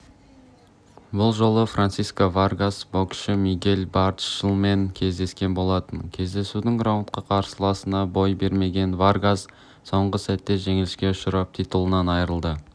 бұл жолы франсиско варгас боксшы мигель берчелмен кездескен болатын кездесудің раундында қарсыласына бой бермеген варгас соңғы сәтте жеңіліске ұшырап титулынан айрылды